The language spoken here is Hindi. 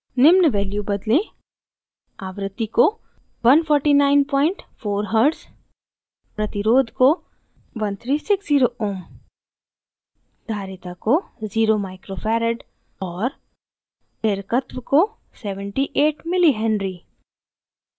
निम्न value बदलें: